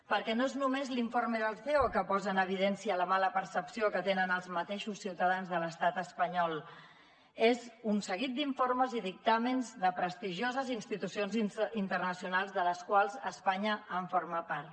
perquè no és només l’informe del ceo que posa en evidència la mala percepció que tenen els mateixos ciutadans de l’estat espanyol són un seguit d’informes i dictàmens de prestigioses institucions internacionals de les quals espanya forma part